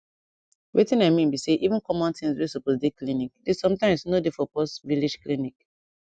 wetin i mean be say even common things wey supose dey clinic dey sometimes nor dey for pause village clinic